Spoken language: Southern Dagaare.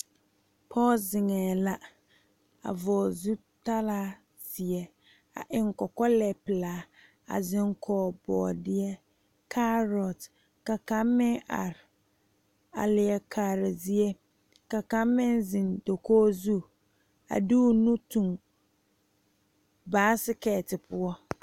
Pɔge zeŋee la a vɔgle zutalaa ziɛ a eŋ kɔkɔlɛ pelaa a zeŋ kɔge boodeɛ karo ka kaŋ meŋ are a leɛ kaare zie ka kaŋ meŋ zeŋ dakogi zu a de o nu tuŋ baasiketi poɔ.